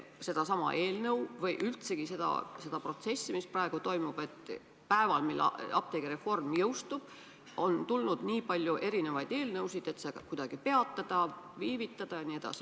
Mõtlen sedasama eelnõu või üldse seda protsessi, mis praegu toimub: veidi enne päeva, mil apteegireform jõustub, on esitatud nii mitu erinevat eelnõu, et see kuidagi peatada, sellega viivitada jne.